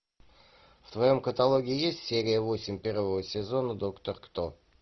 в твоем каталоге есть серия восемь первого сезона доктор кто